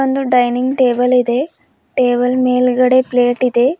ಒಂದು ಡೈನಿಂಗ್ ಟೇಬಲ್ಲಿದೆ ಟೇಬಲ್ ಮೇಲ್ಗಡೆ ಪ್ಲೇಟ್ ಇದೆ.